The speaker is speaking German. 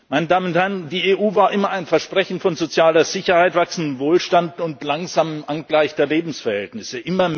Meine Damen und Herren, die EU war immer ein Versprechen von sozialer Sicherheit, wachsendem Wohlstand und einer langsamen Angleichung der Lebensverhältnisse.